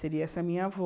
Seria essa minha avó.